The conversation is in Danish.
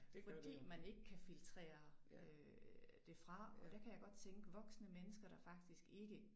Fordi man ikke kan filtrere øh det fra og der kan jeg godt tænke voksne mennesker der faktisk ikke